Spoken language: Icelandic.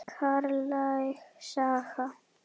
Karllæg saga?